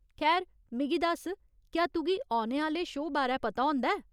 खैर, मिगी दस्स, क्या तुगी औने आह्‌ले शो बारै पता होंदा ऐ ?